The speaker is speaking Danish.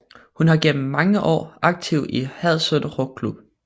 Hun har gennem mange år aktiv i Hadsund Roklub